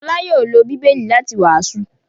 Fọlá yóò lọ Bíbélì láti wàásù.